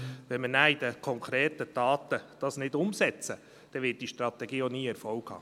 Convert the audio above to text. Wenn wir das nicht in konkrete Taten umsetzen, wird diese Strategie nie Erfolg haben.